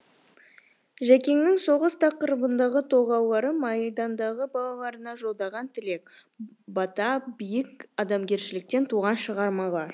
жәкеңнің соғыс тақырыбындағы толғаулары майдандағы балаларына жолдаған тілек бата биік адамгершіліктен туған шығармалар